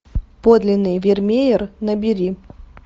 подлинный вермеер набери